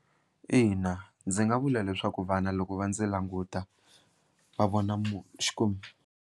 Ina, ndzi nga vula leswaku vana loko va ndzi languta va vona .